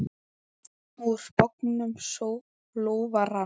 Úr bognum lófa rann.